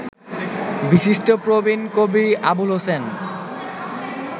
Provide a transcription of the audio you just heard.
বিশিষ্ট প্রবীণ কবি আবুল হোসেন